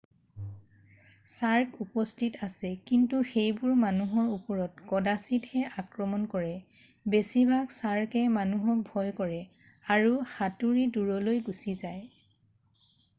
"চাৰ্ক উপস্থিত আছে কিন্তু সেইবোৰে মানুহৰ ওপৰত কদাচিৎহে আক্ৰমণ কৰে । বেছিভাগ চাৰ্কএ মানুহক ভয় কৰে আৰু সাতুৰী দূৰলৈ গুচি যায় ।""